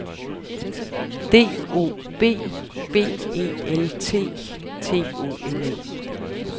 D O B B E L T T O N E